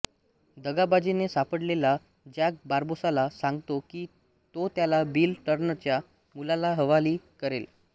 दगाबाजीने सापडलेला जॅक बार्बोसाला सांगतो की तो त्याला बिल टर्नरच्या मुलाला हवाली करेल